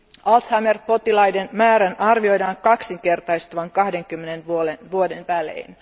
Alzheimer potilaiden määrän arvioidaan kaksinkertaistuvan 20 vuoden välein.